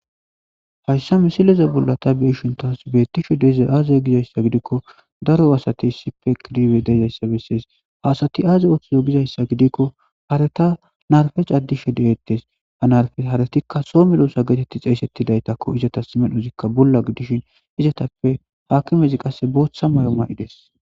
hayssa misileza bullata beeshintaas beettishe deza aaze gizayssa gidikko daro asati sipe kiribe dezayssa bessees haasati aaze oththizo gizayssa gidikko hareta narfec addishe de hettes ha narfe haratikka so meloosa geetetti xeesetti daytakko izatas medhozikka bolla gidishin izatappe haakimezi qasse booththa may7oma7ides